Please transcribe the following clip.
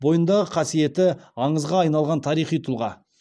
бойындағы қасиеті аңызға айналған тарихи тұлға